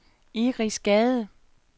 Iris Gade